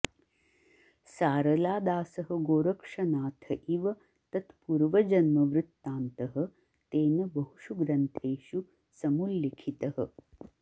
सारलादासः गोरक्षनाथ इव तत्पूर्वजन्मवृतान्तः तेन बहुषु ग्रन्थेषु समुल्लिखितः